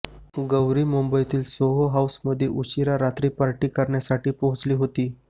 गौरी मुंबईतील सोहो हाउसमध्ये उशिरा रात्री पार्टी करण्यासाठी पोहोचली होती